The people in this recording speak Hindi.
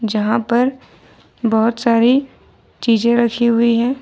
जहां पर बहुत सारी चीजें रखी हुई हैं।